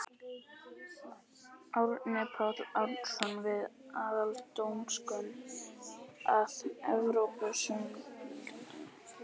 Árni Páll Árnason: Við aðildarumsókn að Evrópusambandinu?